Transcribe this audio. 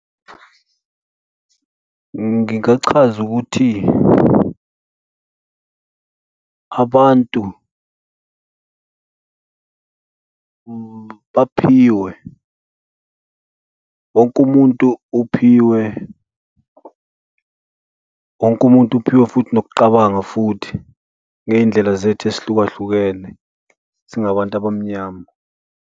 Ngingachaza ukuthi abantu baphiwe. Wonke umuntu uphiwe, wonke umuntu uphiwe futhi nokucabanga futhi ngey'ndlela zethu ezihlukahlukene singabantu abamnyama.